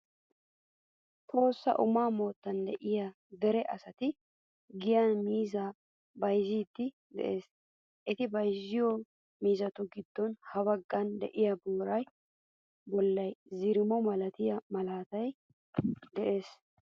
Tohossa Umaa moottan de'iyaa dere asati giyan miizzaa bayzziiddi de"ees. Eti bayziyo miizzatu giddon ha baggaara de'iya booraa bolli zirimo milatiya malaatay de"ees.